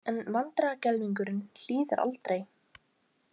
En vandræðagemlingurinn hlýðir aldrei.